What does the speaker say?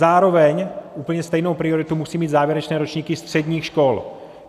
Zároveň úplně stejnou prioritu musí mít závěrečné ročníky středních škol.